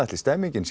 er stemmningin